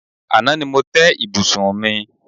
Àná ni mo té̩ ibùsùn mi.